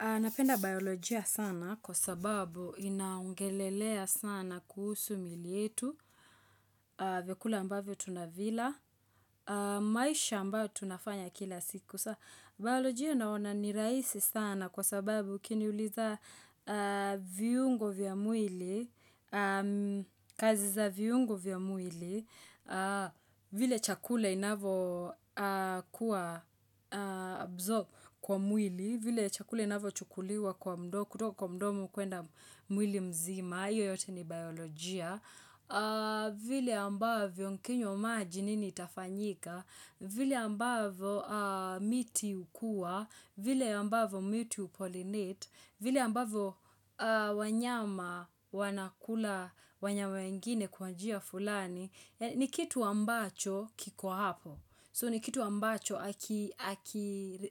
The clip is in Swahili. Napenda biolojia sana kwa sababu inaongelelea sana kuhusu mili yetu vyakula ambavyo tunavila maisha ambayo tunafanya kila siku Biolojia naona ni raisi sana kwa sababu ukiniuliza viungo vya mwili kazi za viungo vya mwili vile chakula inavyo kuwa absorbed kwa mwili vile chakula inavyochukuliwa kutoka kwa mdomu kuenda mwili mzima iyo yote ni biolojia vile ambavyo mkinywa maji nini itafanyika vile ambavyo miti hukua vile ambavyo miti upollinate vile ambavyo wanyama wanakula wanyama wengine kwanjia fulani ni kitu ambacho kiko hapo so ni kitu ambacho